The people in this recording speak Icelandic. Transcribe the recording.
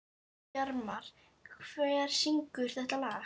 Bjarmar, hver syngur þetta lag?